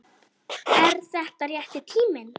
Er þetta rétti tíminn?